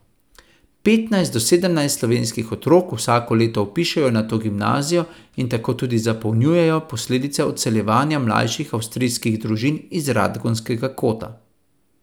Petnajst do sedemnajst slovenskih otrok vsako leto vpišejo na to gimnazijo in tudi tako zapolnjujejo posledice odseljevanja mlajših avstrijskih družin iz Radgonskega kota.